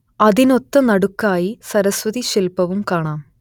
അതിനൊത്തനടുക്കായി സരസ്വതി ശില്പവും കാണാം